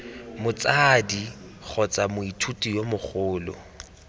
motsadi kgotsa moithuti yo mogolo